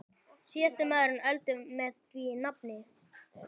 Síðasti mánuður Öldu með því nafni.